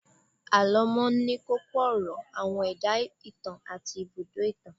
Àlọ́ máa ń ní kókó ọ̀rọ̀, àwọn ẹ̀dá ìtàn àti ibùdó itan